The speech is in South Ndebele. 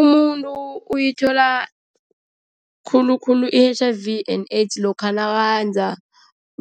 Umuntu uyithola khulukhulu i-H_I_V and AIDS lokha naKenza